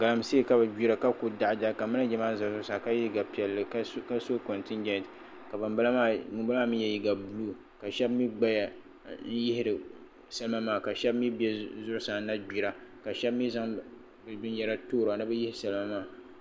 Galamsee ka bi gbira ka ku daɣadaɣi ka manija maa ʒɛ zuɣusaa ka yɛ liiga piɛlli ka so kontijɛnt ka ŋunbala maa mii yɛ liiga buluu ka shab mii gbaya ka yihiri salima maa ka shab mii bɛ zuɣusaa na gbira ka shab mii zaŋ bi binyɛra toora ni bi yihi salima maa